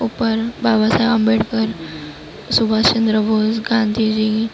ઉપર બાબા સાહેબ આંબેડકર સુભાષ ચંદ્ર બોઝ ગાંધીજી --